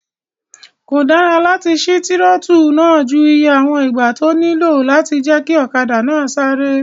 Kò dára láti sí tírótù náà ju iye àwọn ìgbà tó nílò lọ láti jẹ́ kí ọ̀kadà náà sáré